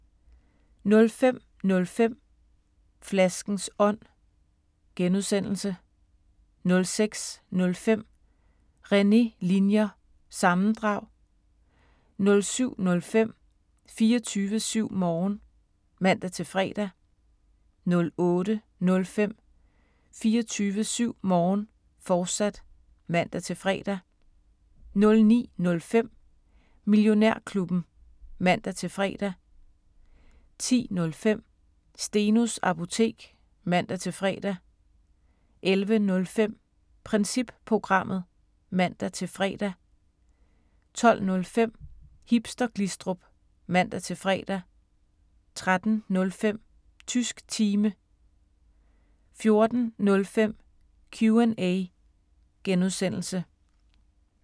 05:05: Flaskens Ånd (G) 06:05: René Linjer – sammendrag 07:05: 24syv Morgen (man-fre) 08:05: 24syv Morgen, fortsat (man-fre) 09:05: Millionærklubben (man-fre) 10:05: Stenos Apotek (man-fre) 11:05: Princip Programmet (man-fre) 12:05: Hipster Glistrup (man-fre) 13:05: Tysk Time 14:05: Q&A (G)